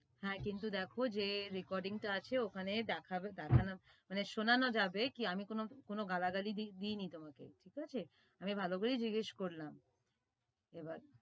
হ্যা কিন্তু দেখো যে recording টা আছে ওখানে দেখাবে মানে শোনানো যাবে কি আমি কোনো গালাগালি দিয়নি তোমাকে ঠিক আছে আমি ভালোভাবেই জিজ্ঞেস করলাম এবার